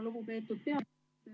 Lugupeetud peaminister!